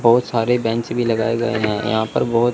बहुत सारे बेंच भी लगाए गए हैं यहां पर बहोत--